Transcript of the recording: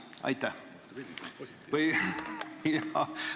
Aitäh!